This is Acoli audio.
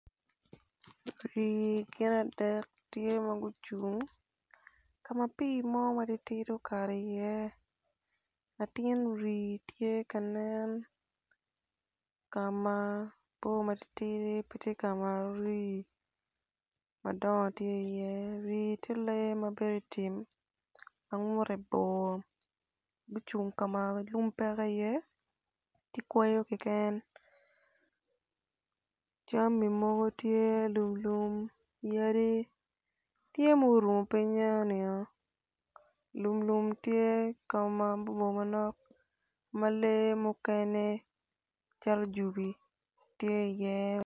Winyo gin adel tye gucung ka ma pii mo matidi okato iye latin rii tye ka nen ka ma rii tye lee ma bedo i tim ma ngute boe gitye gucung ka ma lum cek iye ki kweyo keken jami mogo tye.